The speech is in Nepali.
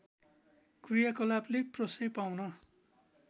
कृयाकलापले प्रश्रय पाउन